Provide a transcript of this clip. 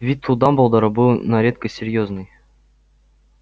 вид у дамблдора был на редкость серьёзный